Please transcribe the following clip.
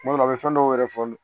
Tuma dɔ la a bɛ fɛn dɔw yɛrɛ fɔ